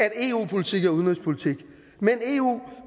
at eu politik er udenrigspolitik men eu